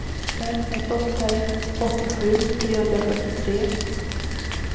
fem ett åtta ett åttiosju trehundrafyrtiotre